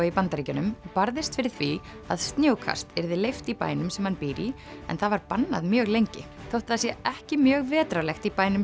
í Bandaríkjunum barðist fyrir því að snjókast yrði leyft í bænum sem hann býr í en það var bannað mjög lengi þótt það sé ekki mjög vetrarlegt í bænum